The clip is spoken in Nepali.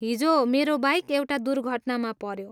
हिजो, मेरो बाइक एउटा दुर्घटनामा पऱ्यो।